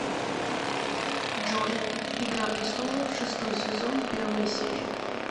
джой игра престолов шестой сезон первая серия